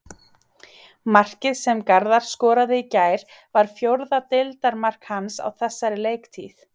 Markið sem Garðar skoraði í gær var fjórða deildarmark hans á þessari leiktíð.